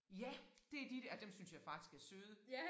Ja det de dér ej dem synes jeg faktisk er søde